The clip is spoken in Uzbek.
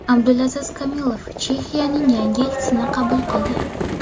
Abdulaziz Kamilov Chexiyaning yangi elchisini qabul qildi.